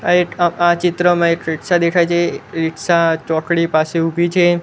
આ એક આ ચિત્રમાં એક રીક્ષા દેખાય છે રીક્ષા ચોકડી પાસે ઉભી છે.